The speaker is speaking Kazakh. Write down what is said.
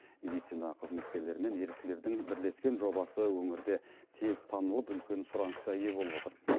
медицина қызметкерлері мен еріктілердің бірлескен жобасы өңірде тез танылып үлкен сұранысқа ие болып отыр